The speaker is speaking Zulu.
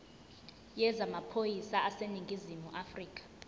yezamaphoyisa aseningizimu afrika